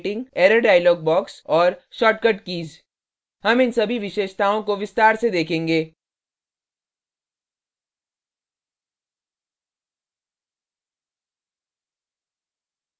error dialog box और shortcut keys हम इन सभी विशेषताओं को विस्तार से देखेंगे